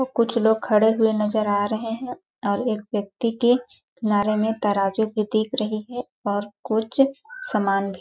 कुछ लोग खड़े हुए नज़र आ रहे है और एक व्यक्ति के नारे में तराजू भी दिख रही है और कुछ सामान भी--